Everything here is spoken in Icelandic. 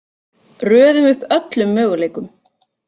Röðum upp öllum möguleikum: